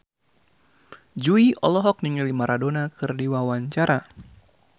Jui olohok ningali Maradona keur diwawancara